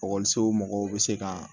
mɔgɔw bɛ se ka